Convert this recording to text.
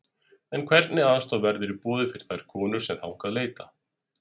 En hvernig aðstoð verður í boði fyrir þær konur sem þangað leita?